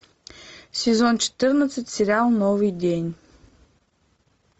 сезон четырнадцать сериал новый день